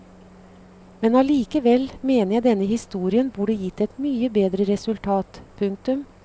Men allikevel mener jeg denne historien burde gitt et mye bedre resultat. punktum